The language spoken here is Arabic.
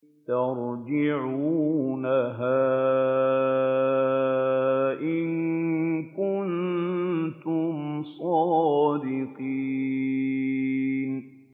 تَرْجِعُونَهَا إِن كُنتُمْ صَادِقِينَ